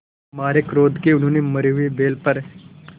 मारे क्रोध के उन्होंने मरे हुए बैल पर